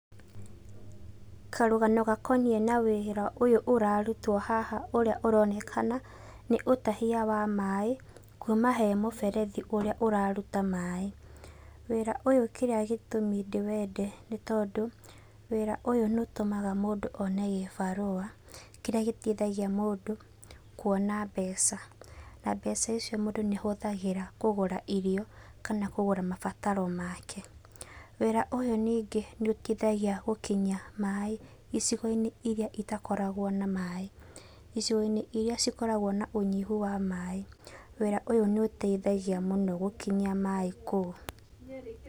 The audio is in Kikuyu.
Karũgano gakoniĩ na wĩra ũyũ ũrarutwo haha ũrĩa ũronekana nĩ ũtahia wa maaĩ kuuma he mũberethi ũrĩa ũraruta maaĩ. Wĩra ũyũ kĩrĩa gĩtũmi ndĩwende nĩ tondũ wĩra ũyũ nĩ ũtũmaga mũndũ o ne gĩbarũa kĩrĩa gĩteithagia mũndũ kuona mbeca. Na mbeca icio mũndũ nĩ ahũthagĩra kũgũra irio kana kũgũra mabataro make. Wĩra ũyũ ningĩ nĩ ũteithagia gũkinyia maaĩ icigo-inĩ irĩa itakoragwo na maaĩ. Icigo-inĩ irĩa cikoragwo na ũnyihu wa maaĩ, wĩra ũyũ nĩ ũteithagia mũno gũkinyia maaĩ kũu